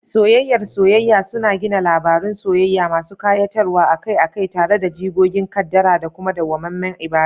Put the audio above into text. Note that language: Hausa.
Soyayyar soyayya suna gina labarun soyayya masu kayatarwa, akai-akai tare da jigogin kaddara da kuma dawwamammen ibada.